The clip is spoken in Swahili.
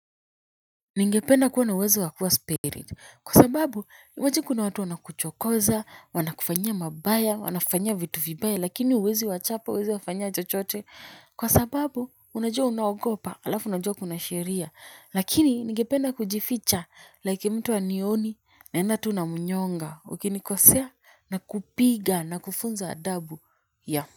Ningependa kuwa na uwezo wa kuwa spirit kwa sababu imagine kuna watu wana kuchokoza wana kufanyia mabaya wanakufanyia vitu vibaya lakini huwezi wachapa huwezi wafanyia chochote kwa sababu unajua unaogopa alafu unajua kuna sheria lakini ningependa kujificha like mtu hanioni naenda tu namnyonga ukinikosea nakupiga nakufunza adabu ya.